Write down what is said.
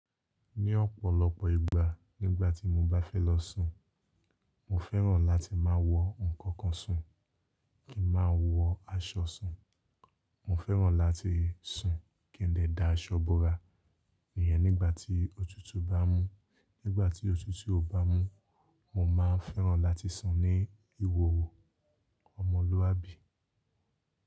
Ní ọ̀pọ̀lọpọ̀ ìgbà nígbàtí mo bá fẹ́ lọ sùn, mo fẹ́ràn láti máa wọ ǹkan kan sùn kí n máa wọ aṣọ sùn. Mo fẹ́ràn láti sùn kí n dẹ̀ da aṣọ bora, ìyẹn nígbàtí òtútù bá mú. Nígbàtí òtútù ò bá mú, mo máa fẹ́ràn láti sùn ní ìhòhò ọmọlúwàbí.